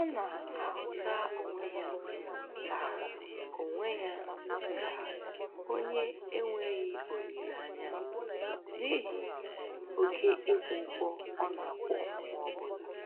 Ọ na-ahụta onwe ya ka onwe ya ka onye enweghị olileanya n'ihi oke ịkwụ ụgwọ ọ na-akwụ mgbe ọbụla